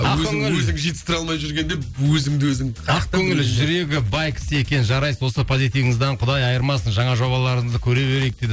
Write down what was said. ақкөңіл өзің өзің жетістіре алмай жүргенде өзіңді өзің ақкөңіл жүрегі бай кісі екен жарайсыз осы позитвіңізден құдай айырмасын жаңа жобаларыңызды көре берейік дейді